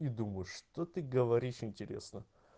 и думаю что ты говоришь интересно